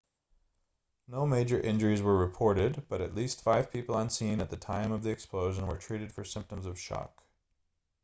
no major injuries were reported but at least five people on scene at the time of the explosion were treated for symptoms of shock